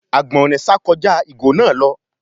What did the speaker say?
Àgbọ̀nrín sà kọjá ìgò náà lọ.